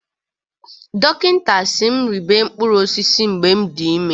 Dọkịta si m rịebe mkpụrụ osịsị mgbe m dị ime